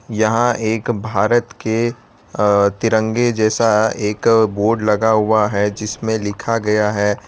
यहां एक भारत के अ तिरंगे जैसा एक बोर्ड लगा हुआ है जिसमें लिखा गया है।